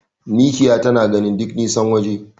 Mikiya tana gani duk nisan waje.